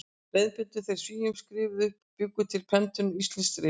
Leiðbeindu þeir Svíum, skrifuðu upp og bjuggu til prentunar íslensk rit.